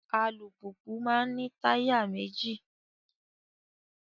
Alùpùpù maa n ní táyà méjì